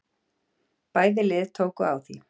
Bæði lið tóku á því.